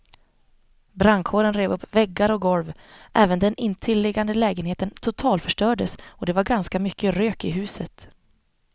Brandkåren rev upp väggar och golv, även den intilliggande lägenheten totalförstördes och det var ganska mycket rök i huset.